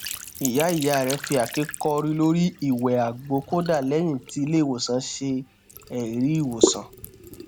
ìyá ìyá rẹ fi àáké kọrí lórí ìwẹ àgbo kódà lẹyìn tí ilé ìwòsàn ṣe ẹrí ìwòsàn